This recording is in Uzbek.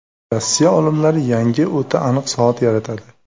Rossiya olimlari yangi o‘ta aniq soat yaratadi.